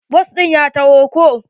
Bas ɗin ya taho ko